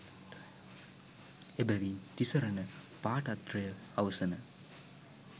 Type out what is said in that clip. එබැවින් තිසරණ පාඨත්‍රය අවසන